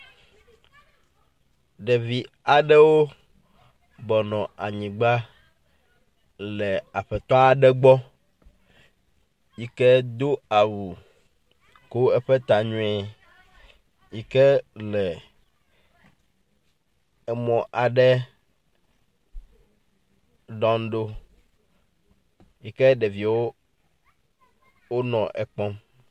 Ɖevi aɖewo bɔbɔnɔ anyigba le aƒetɔ aɖe gbɔ yike do awu ko eƒe tta nyuie yi ke le emɔ aɖe dɔm ɖo yi ke ɖeviwo wonɔ ekpɔm.